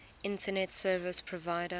internet service provider